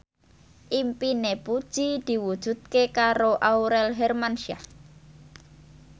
impine Puji diwujudke karo Aurel Hermansyah